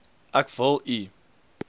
ek wil u